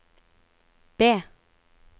B